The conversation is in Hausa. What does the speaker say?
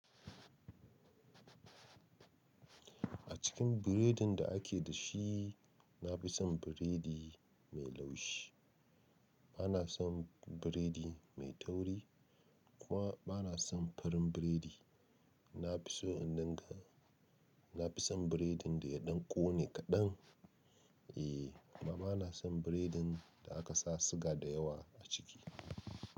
A cikin biredin da ake da shi, na fi son biredi mai laushi. Ba na son biredi mai tauri kuma ba na son farin biredi. Na fi so in ɗanga, na fi son biredin da ya ɗan ƙone kaɗan. Eh, amma ba na son biredin da aka sa siga da yawa a ciki.